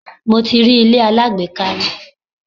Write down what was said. Mo ti rí ilé alágbèéká rí.